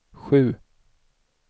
sju